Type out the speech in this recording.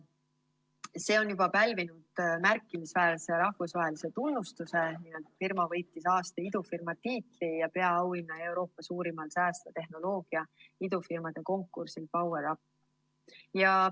See on juba pälvinud märkimisväärse rahvusvahelise tunnustuse: firma võitis aasta idufirma tiitli ja peaauhinna Euroopa suurimal säästva tehnoloogia idufirmade konkursil PowerUp.